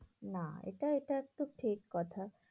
না, এটা এটা একটু ঠিক কথা।